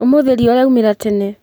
ũmũthĩ riũa rĩaumĩra tene.